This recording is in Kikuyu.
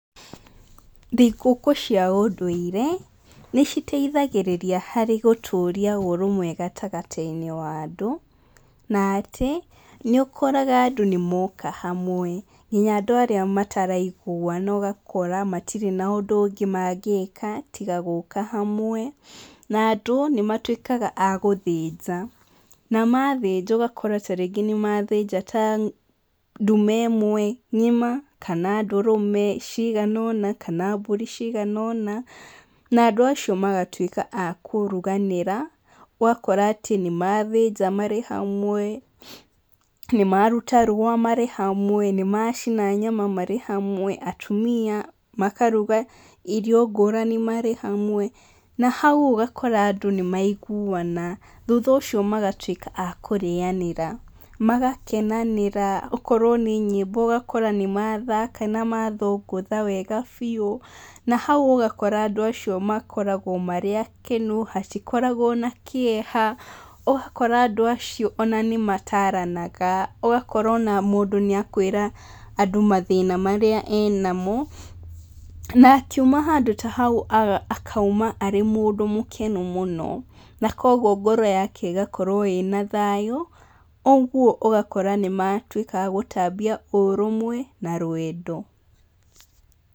Thigũkũ cia ũndũire nĩ citeithagĩrĩria harĩ gũtũria ũrũmwe gatagatĩ-inĩ wa andũ, na atĩ nĩ ũkoraga andũ nĩmoka hamwe. Nginya andũ arĩa matariguana ũgakora matirĩ na ũndũ ũngĩ mangĩka tiga gũka hamwe. Na andũ nĩ matuĩkaga a gũthĩnja, na mathĩnja ũgakora ta rĩngĩ nĩ mathĩnja ta ndume ĩmwe ng'ima, kana ndũrũme cigana ũna, kana mbũri cigana ũna. Na andũ acio magatuĩka a kũruganĩra, ũgakora atĩ nĩ mathĩnja marĩ hamwe, nĩ maruta rũa marĩ hamwe, nĩ macina nyama marĩ hamwe, atumia makaruga irio ngũrani marĩ hamwe, na hau ũgakora andũ nĩmaiguana. Thutha ũcio mgatuĩka a kũrĩanĩra, magakenanĩra okorwo nĩ nyĩmbo ũgakora nĩ mathaka na mathũngũtha wega biũ. Na hau ũgakora andũ acio makoragwo marĩ akenu, hatikoragwo na kĩeha, ũgakora andũ acio ona nĩ mataranaga, ũgakora ona mũndũ nĩ akwĩra andũ mathĩna marĩa enamo. Na akiuma handũ ta hau akauma arĩ mũndũ mũkenu mũno. Na kuũguo ngoro yake ĩgakorwo ĩna thayũ, ũguo ũgakora nĩ matuĩka a gũtambia ũrũmwe na rwendo.